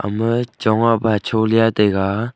ema chong a washolia taiga.